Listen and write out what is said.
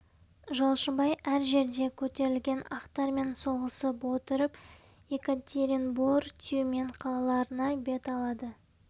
жолшыбай әр жерде көтерілген ақтармен соғысып отырып екатеринбор тюмень қалаларына бет алады